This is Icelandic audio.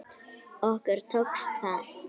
Okkur tókst það.